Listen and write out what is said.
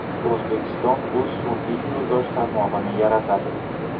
O‘zbekiston o‘z sun’iy yo‘ldosh tarmog‘ini yaratadi.